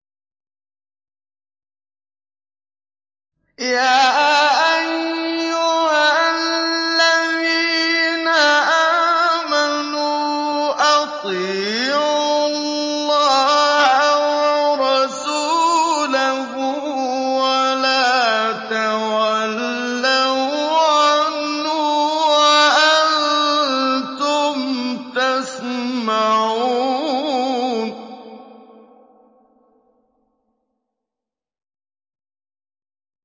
يَا أَيُّهَا الَّذِينَ آمَنُوا أَطِيعُوا اللَّهَ وَرَسُولَهُ وَلَا تَوَلَّوْا عَنْهُ وَأَنتُمْ تَسْمَعُونَ